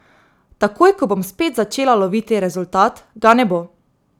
Takoj, ko bom spet začela loviti rezultat, ga ne bo.